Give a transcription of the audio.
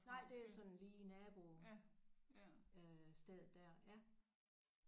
Nej det er sådan lige naboen øh stedet der ja